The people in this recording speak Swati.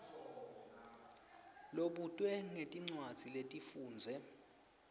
lobutwe ngetincwadzi lotifundze